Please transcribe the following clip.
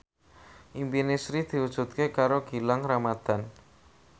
impine Sri diwujudke karo Gilang Ramadan